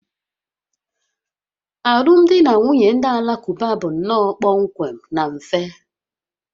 Alụmdi na nwunye ndị Alakụba bụ nnọọ kpọmkwem na mfe